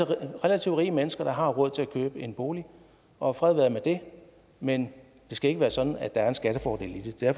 relativt rige mennesker der har råd til at købe en bolig og fred være med det men det skal ikke være sådan at der er en skattefordel i det det er